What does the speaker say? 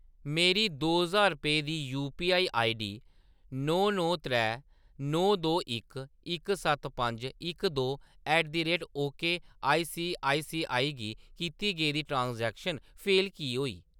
मेरी दो ज्हार रपेऽ दी यूपीआई आईडी नौ नौ त्रै नौ दो इक इक सत्त पंज इक दो at the rate okay ICICI गी कीती गेदी ट्रांज़ैक्शन फेल की होई?